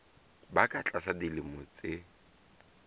ba ka tlasa dilemo tse